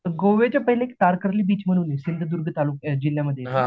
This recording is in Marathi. गोव्याच्या पहिले एक तारकर्ली बीच म्हणून आहे, सिंधुदुर्ग तालुक्या जिल्ह्यामध्ये येतो तो